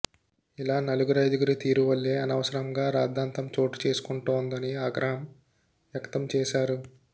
ఇలా నలుగురైదుగురి తీరు వల్లే అనవసరంగా రాద్ధాంతం చోటు చేసుకుంటోందని ఆగ్రహం వ్యక్తం చేశారు